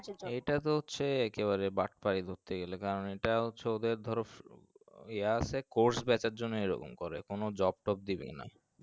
এটা তো হচ্ছে এক্কেবারে বাট পাই ধরতে গেলে গেলে কারণ এটা হচ্ছে ওদের ধরো ইয়া আছে course batch এর জন্য এরকম করে কোনো job টব দিবেই না